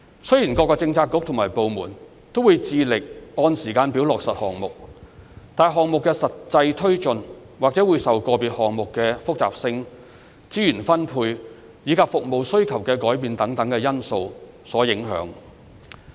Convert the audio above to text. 雖然各政策局及部門均致力按時間表落實項目，但項目的實際推進，或會受到個別項目的複雜性、資源分配，以及服務需求的改變等因素所影響。